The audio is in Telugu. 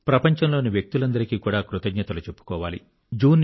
ప్రపంచంలోని వ్యక్తులందరికీ కూడా కృతజ్ఞతలు చెప్పుకోవాలి